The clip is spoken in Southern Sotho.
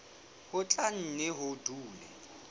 ho tla nne ho dule